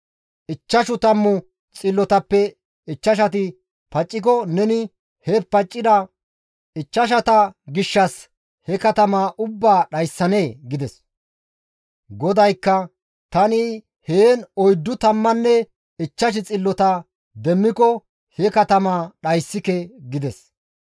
Ichchashu tammu xillotappe ichchashati pacciko neni he paccida ichchashata gishshas he katamaa ubbaa dhayssanee?» gides. GODAYKKA, «Tani heen oyddu tammanne ichchash xillota demmiko he katamaa dhayssike» gides.